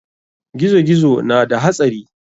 Gizo-gizo na da hatsari.